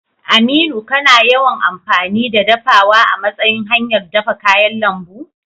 Aminu, kana yawan amfani da dafawa a matsayin hanyar dafa kayan lambu?